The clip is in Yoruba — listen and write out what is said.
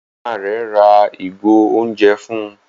Màmá rẹ rà ìgò oúnjẹ fún